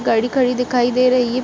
गाड़ी खड़ी दिखाई दे रही है।